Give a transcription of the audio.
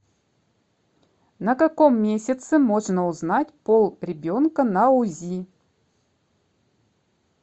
на каком месяце можно узнать пол ребенка на узи